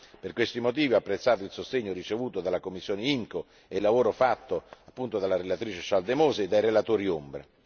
Per questi motivi, ho apprezzato il sostegno ricevuto dalla commissione IMCO e il lavoro svolto dalla relatrice Schaldemose e dai relatori ombra.